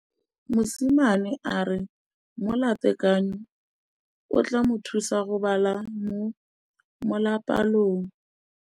Mosimane a re molatekanyô o tla mo thusa go bala mo molapalong.